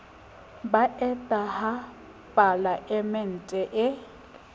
ba eta ha palaemente e